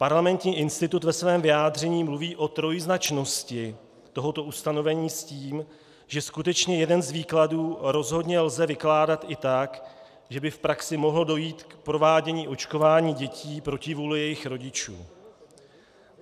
Parlamentní institut ve svém vyjádření mluví o trojznačnosti tohoto ustanovení s tím, že skutečně jeden z výkladů rozhodně lze vykládat i tak, že by v praxi mohlo dojít k provádění očkování dětí proti vůli jejich rodičů.